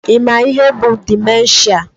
Ị ma ihe bụ dimenshia?